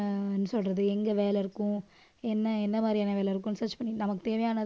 என்ன சொல்றது எங்க வேலை இருக்கும் என்ன என்ன மாதிரியான வேலை இருக்கும் search பண்ணிட்டு நமக்கு தேவையானதை